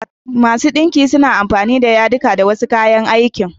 Masu ɗinki suna amfani da yadiku da kuma wasu kayan aikin.